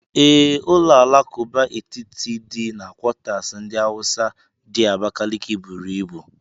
Ee, ụlọ alakụba etiti dị na quatasi ndi Hausa di Abakaliki buru ibu.